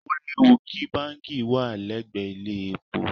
Ó léwu kí báǹkì wà lẹ́gbẹ̀ẹ́ ilé-epo.